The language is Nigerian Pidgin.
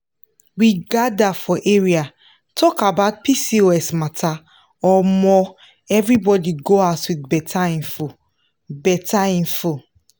we gather for area talk about pcos matteromo everybody go huz with better info. better info.